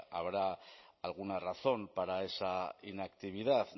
habrá alguna razón para esa inactividad